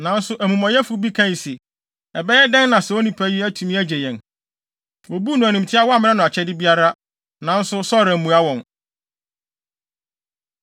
Nanso amumɔyɛfo bi kae se, “Ɛbɛyɛ dɛn na saa onipa yi atumi agye yɛn?” Wobuu no animtiaa a wɔammrɛ no akyɛde biara. Nanso Saulo ammua wɔn.